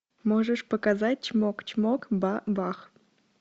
можешь показать чмок чмок ба бах